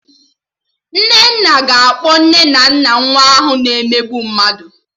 Nnenna ga-akpọ nne na nna nwa ahụ na-emegbu mmadụ